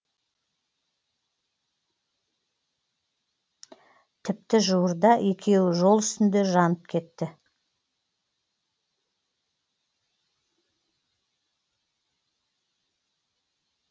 тіпті жуырда екеуі жол үстінде жанып кетті